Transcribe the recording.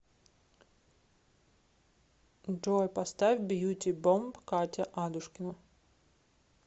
джой поставь бьюти бомб катя адушкина